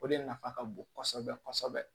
O de nafa ka bon kosɛbɛ kosɛbɛ